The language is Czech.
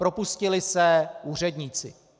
Propustili se úředníci.